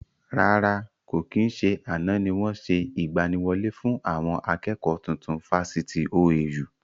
Rárá, kò kí n ṣe àná ni wọn ṣe ìgbàníwọlé fún àwọn akẹ́kọ̀ọ́ tuntun Fáṣítì OAU